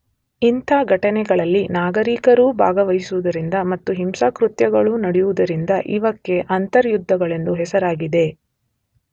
ಇಂಥ ಘಟನೆಗಳಲ್ಲಿ ನಾಗರಿಕರೂ ಭಾಗವಹಿಸುವುದರಿಂದ ಮತ್ತು ಹಿಂಸಾಕೃತ್ಯಗಳು ನಡೆಯುವುದರಿಂದ ಇವಕ್ಕೆ ಅಂತರ್ಯುದ್ಧಗಳೆಂದು ಹೆಸರಾಗಿದೆ.